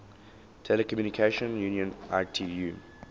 telecommunication union itu